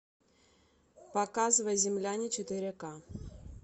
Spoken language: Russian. показывай земляне четыре к